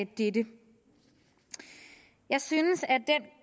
dette jeg synes